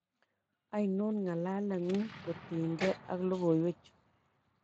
Ainon ng'alaleng'ung kotienge ak logoywechu?